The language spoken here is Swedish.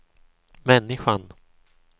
människan